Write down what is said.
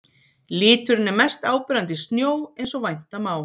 Liturinn er mest áberandi í snjó eins og vænta má.